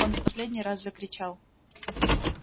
он в последний раз закричал